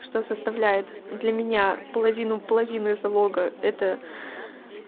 что составляет для меня половину половину залога это